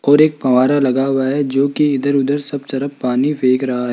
और एक फव्वारा लगा हुआ है जो कि इधर उधर सब तरफ पानी फेंक रहा है।